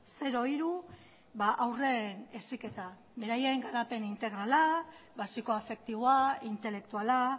zero hiru haurren heziketa beraien garapen integrala basiko afektiboa intelektuala